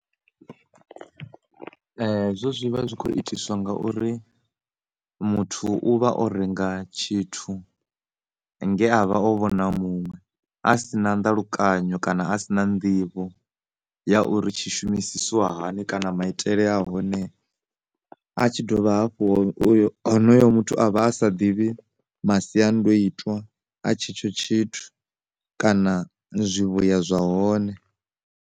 Hezwo zwi vha zwi kho itiswa ngauri muthu u vha o renga tshithu nge avha o vhona muṅwe a si na nḓalukanyo kana a si na nḓivho ya uri tshi shumisisiwa hani kana maitele a hone a tshi dovha hafhu uyo, honoyo muthu avha a sa ḓivhi masiandoitwa a tshetsho tshithu kana zwivhuya zwa hone.